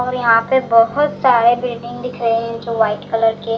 और यहां पे बहुत सारे बिल्डिंग दिख रहे है जो वाइट कलर के --